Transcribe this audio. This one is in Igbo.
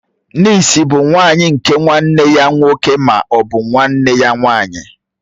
Nịịsi bụ nwà nwanyị nke nwanne ya nwoke ma ọ bụ nwanne ya nwanyị.